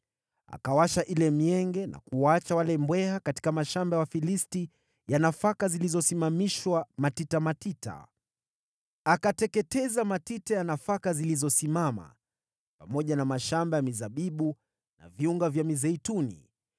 akawasha ile mienge na kuwaachia wale mbweha katika mashamba ya Wafilisti ya nafaka zilizosimamishwa katika matita. Akateketeza matita ya nafaka zilizosimama, pamoja na mashamba ya mizabibu na viunga vya mizeituni.